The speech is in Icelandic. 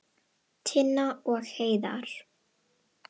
Tinna og Heiðar.